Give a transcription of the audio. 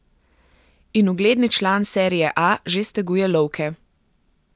In ugledni član serie A že steguje lovke!